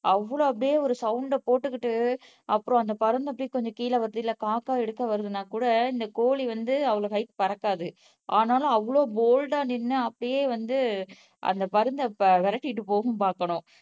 அவ்வளவு அப்படியே ஒரு சவுண்டை போட்டுகிட்டு அப்புறம் அந்த பருந்து அப்படியே கொஞ்சம் கீழ வருது இல்ல காக்கா எடுக்க வருதுன்னா கூட இந்த கோழி வந்து அவ்வளவு ஹைட் பறக்காது ஆனாலும் அவ்வளவு போல்டா நின்னு அப்படியே வந்து அந்த பருந்தை விரட்டிட்டு போகும் பாக்கணும்